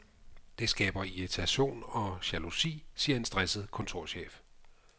Det skaber irritation og jalousi, siger en stresset kontorchef.